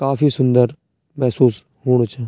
काफी सुन्दर महसूस हूणू च।